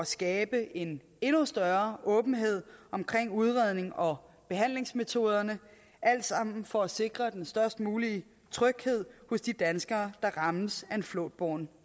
skabe en endnu større åbenhed omkring udrednings og behandlingsmetoderne alt sammen for at sikre den størst mulige tryghed hos de danskere der rammes af en flåtbåren